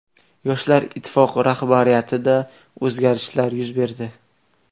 Yoshlar Ittifoqi rahbariyatida o‘zgarishlar yuz berdi.